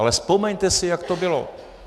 Ale vzpomeňte si, jak to bylo.